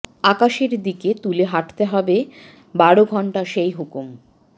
আকাশের দিকে তুলে হাঁটতে হবে বারো ঘণ্টা সেই হুকুম